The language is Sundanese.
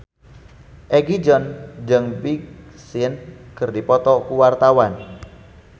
Egi John jeung Big Sean keur dipoto ku wartawan